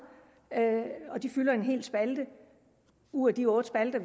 de fylder en hel spalte ud af de otte spalter